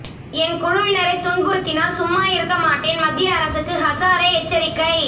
என் குழுவினரை துன்புறுத்தினால் சும்மா இருக்கமாட்டேன் மத்திய அரசுக்கு ஹசாரே எச்சரிக்கை